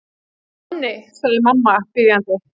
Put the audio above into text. Manni, segir mamma biðjandi.